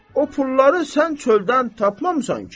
O pulları sən çöldən tapmamısan ki?